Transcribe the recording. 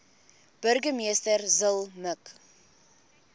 burgemeester zille mik